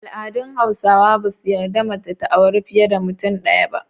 Al’adun Hausawa ba su yarda mace ta auri fiye da mutum ɗaya ba.